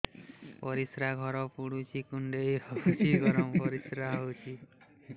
ପରିସ୍ରା ଘର ପୁଡୁଚି କୁଣ୍ଡେଇ ହଉଚି ଗରମ ପରିସ୍ରା ହଉଚି